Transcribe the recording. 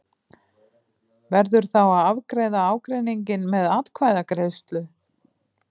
Verður þá að afgreiða ágreininginn með atkvæðagreiðslu.